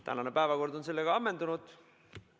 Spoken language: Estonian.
Tänane päevakord on sellega ammendunud.